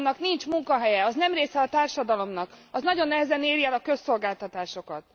Annak nincs munkahelye, az nem része a társadalomnak, az nagyon nehezen éri el a közszolgáltatásokat.